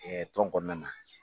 tɔn kɔnɔna na.